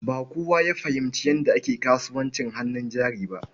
Ba kowa ya fahimci yadda ake kasuwancin hannun jari ba.